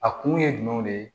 A kun ye jumɛn de ye